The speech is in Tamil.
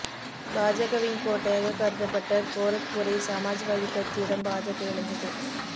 பாஜகவின் கோட்டையாக கருதப்பட்ட கோரக்பூரை சமாஜ்வாதி கட்சியிடம் பாஜக இழந்தது